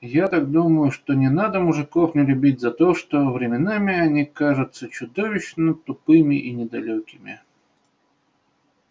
я так думаю что не надо мужиков не любить за то что временами они кажутся чудовищно тупыми и недалёкими